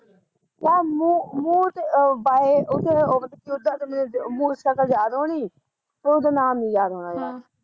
ਯਾਰ ਮੂਹ ਮੂਹ ਦੇ ਆ ਬਾਏ ਓਦਾ ਤਾਂ ਉਤੇ ਸ਼ਕਲ ਯਾਦ ਹੋਣੀ ਪਰ ਉਦਾ ਨਾਮ ਨੀ ਯਾਦ ਹਮ ਹੋਣਾ ਮੇਰਾ